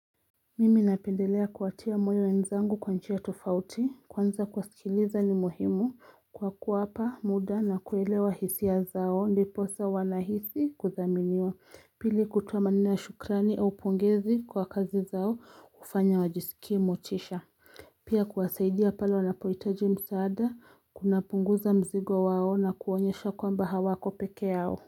Mimi napendelea kuwatia moyo wenzangu kwa njia tofauti kwanza kuwasikiliza ni muhimu kwa kuwapa muda na kuelewa hisia zao ndiposa wanahisi kuthaminiwa pili kutoa maneno ya shukrani au pongezi kwa kazi zao hufanya wajisikie motisha Pia kuwasaidia pale wanapohitaji msaada kunapunguza mzigo wao na kuonyesha kwamba hawako pekee yao.